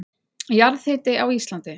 Jarðhiti á Íslandi